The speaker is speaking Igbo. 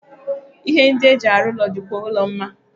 Ihe ndị e mji arụ ụlọ dị kwụọ la mma.